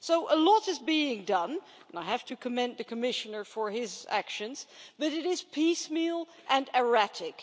So a lot is being done and I have to commend the Commissioner for his actions but it is piecemeal and erratic.